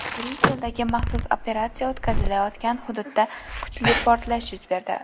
Bryusseldagi maxsus operatsiya o‘tkazilayotgan hududda kuchli portlash yuz berdi.